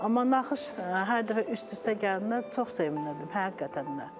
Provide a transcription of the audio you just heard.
Amma naxış hər dəfə üst-üstə gələndə çox sevinirdim həqiqətən də.